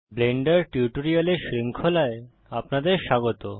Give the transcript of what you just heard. Blender টিউটোরিয়ালের শৃঙ্খলায় আপনাদের স্বাগত